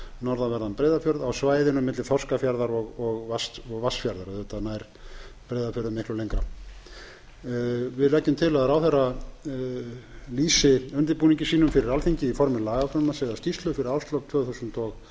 norðanverðan breiðafjörð á svæðinu á milli þorskafjarðar og vatnsfjarðar auðvitað nær breiðafjörður miklu lengra við leggjum til að ráðherra lýsi undirbúningi sínum fyrir alþingi í formi lagafrumvarps eða skýrslu fyrir árslok tvö þúsund og